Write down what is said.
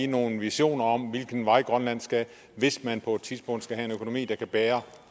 nogle visioner om hvilken vej grønland skal hvis man på et tidspunkt skal have en økonomi der kan bære